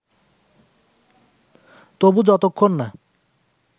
তবু যতক্ষণ না